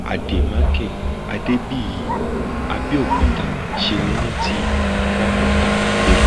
àdèmàkè adébíyí àbẹòkúta ṣe é rántí ramọta bello